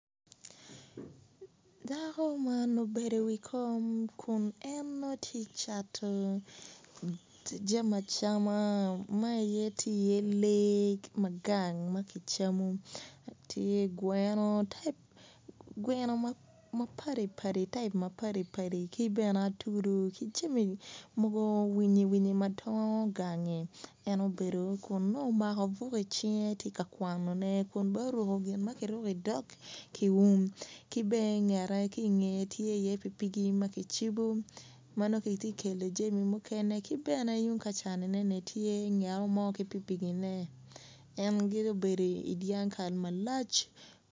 Dako man obedo i wi kom kun en nongo tye ka cato jami acam ma tye iye tye lee ma gang ma kicamo tye geno geno type ma padipadi ki bene atudu winyi mogo madwong gang en obedo tye ka kwano buk dok oruko gin ma ki bowyo ki dog ku um ki bene i ngeye tye pikipiki ma kicibo ma nongo ki tye ka kelo jami dok gubedo i dyang kaal malac.